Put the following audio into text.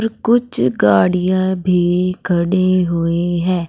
कुछ गाडियां भी खड़ी हुई है।